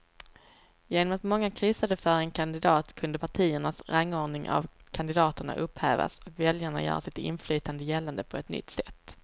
Genom att många kryssade för en kandidat kunde partiernas rangordning av kandidaterna upphävas och väljarna göra sitt inflytande gällande på ett nytt sätt.